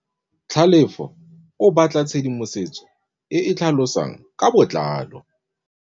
Tlhalefô o batla tshedimosetsô e e tlhalosang ka botlalô.